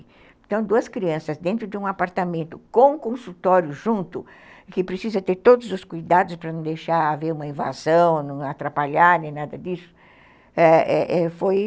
Então, duas crianças dentro de um apartamento com consultório junto, que precisa ter todos os cuidados para não deixar haver uma invasão, não atrapalhar, nem nada disso, ãh ãh, foi...